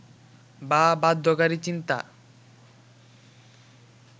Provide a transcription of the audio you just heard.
বা বাধ্যকারী চিন্তা